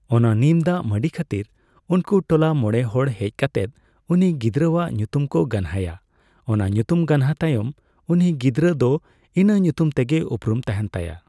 ᱚᱱᱟ ᱱᱤᱢ ᱫᱟᱜ ᱢᱟᱹᱰᱤ ᱠᱷᱟᱹᱛᱤᱨ ᱩᱱᱠᱩ ᱴᱚᱞᱟ ᱢᱚᱲᱮ ᱦᱚᱲ ᱦᱮᱡ ᱠᱟᱛᱮᱫ ᱩᱱᱤ ᱜᱤᱫᱽᱨᱟᱹᱣᱟᱜ ᱧᱩᱛᱩᱢ ᱠᱚ ᱜᱟᱱᱦᱟᱭᱟ ᱚᱱᱟ ᱧᱩᱛᱩᱢ ᱜᱟᱱᱦᱟᱛᱟᱭᱚᱢ ᱩᱱᱤ ᱜᱤᱫᱽᱨᱟᱹ ᱫᱚ ᱤᱱᱟᱹ ᱧᱩᱛᱩᱢ ᱛᱮᱜᱮ ᱩᱯᱨᱩᱢ ᱛᱟᱦᱮᱱ ᱛᱟᱭᱟ ᱾